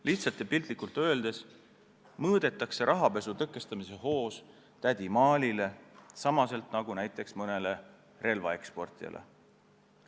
Lihtsalt ja piltlikult öeldes mõõdetakse rahapesu tõkestamise hoos tädi Maalile samamoodi nagu näiteks mõnele relvaeksportijale.